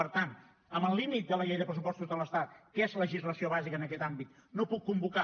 per tant amb el límit de la llei de pressupostos de l’estat que és legislació bàsica en aquest àmbit no puc convocar